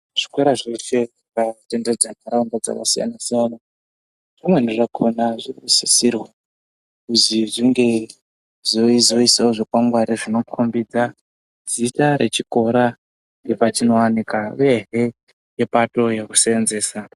Zvikora zveshe zvakatenderedza ntaraunda dzaka siyana siyana zvimweni zvakona zvinosisirwa kuzi zvinge zveizoisawo zvikwangwari zvinokombidza zita rechikora ngepachinowanikwa uyehe ngepato yekusenzesa.